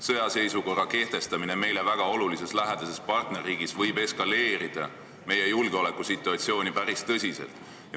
Sõjaseisukorra kehtestamine meile väga olulises ja lähedases partnerriigis võib julgeolekusituatsiooni päris tõsiselt eskaleerida.